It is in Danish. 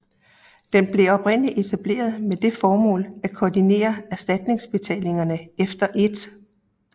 Den blev oprindeligt etableret med det formål at koordinere erstatningsbetalingerne efter 1